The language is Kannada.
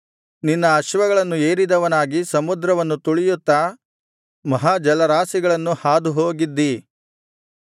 ನಿನ್ನ ಅಶ್ವಗಳನ್ನು ಏರಿದವನಾಗಿ ಸಮುದ್ರವನ್ನು ತುಳಿಯುತ್ತಾ ಮಹಾಜಲರಾಶಿಗಳನ್ನು ಹಾದುಹೋಗಿದ್ದೀ